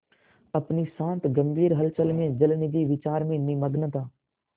अपनी शांत गंभीर हलचल में जलनिधि विचार में निमग्न था